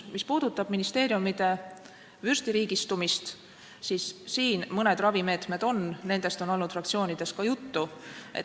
Mis puudutab ministeeriumide vürstiriigistumist, siis siin mõned ravimeetmed on, nendest on olnud fraktsioonides ka juttu.